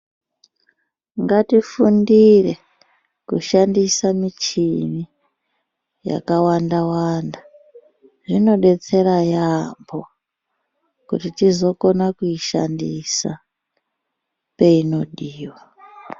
Ngatifundire kushandisa michini yakawanda wanda zvinodetsera yaambo kuti tizokona kuishandisa peinodiwa.